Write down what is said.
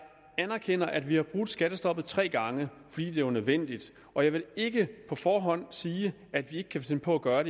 anerkender at vi har brudt skattestoppet tre gange fordi det var nødvendigt og jeg vil ikke på forhånd sige at vi ikke kan finde på at gøre